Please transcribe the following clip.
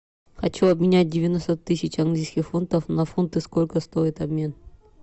хочу обменять девяносто тысяч английских фунтов на фунты сколько стоит обмен